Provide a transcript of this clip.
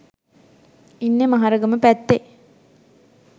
ඉන්නෙ මහරගම පැත්තෙ.